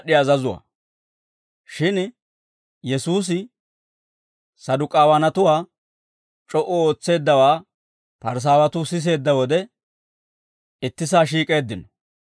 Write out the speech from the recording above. Shin Yesuusi Saduk'aawanatuwaa c'o"u ootseeddawaa Parisaawatuu siseedda wode, ittisaa shiik'eeddino.